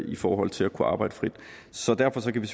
i forhold til at kunne arbejde frit så derfor kan vi